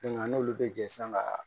n'olu bɛ jɛ san ka